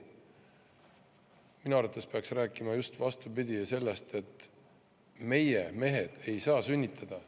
Aga minu arvates peaks rääkima, just vastupidi, sellest, et meie, mehed ei saa sünnitada.